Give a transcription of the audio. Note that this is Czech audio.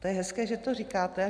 To je hezké, že to říkáte.